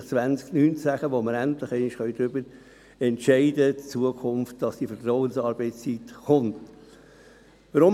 Jetzt schreiben wir das Jahr 2019, und endlich können wird darüber entscheiden, dass die Vertrauensarbeitszeit in Zukunft kommt.